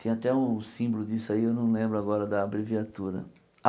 Tem até um símbolo disso aí, eu não lembro agora da abreviatura.